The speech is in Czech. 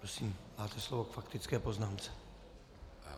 Prosím, máte slovo k faktické poznámce.